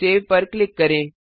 save पर click करें